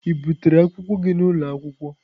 Ị butere akwụkwọ gị n'ụlọ akwụkwọ?